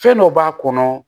Fɛn dɔ b'a kɔnɔ